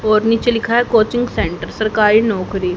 और नीचे लिखा है कोचिंग सेंटर सरकारी नौकरी--